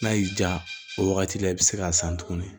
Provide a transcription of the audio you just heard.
N'a y'i diya o wagati la i be se k'a san tuguni